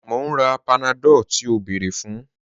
Mo n rà Panadol tí o bẹ́ẹ̀rẹ̀ fun